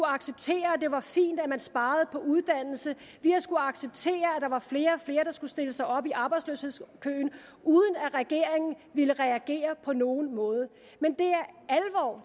acceptere at det var fint at man sparede på uddannelse vi har skullet acceptere at der var flere og flere der skulle stille sig op i arbejdsløshedskøen uden at regeringen ville reagere på nogen måde